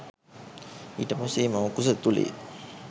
ඊට පස්සේ ඒ මව්කුස ඇතුළේ